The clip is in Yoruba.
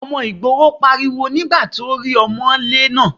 Ọmọ ìgboro pariwo nígbà tí ó rí ọmọ́lé náà.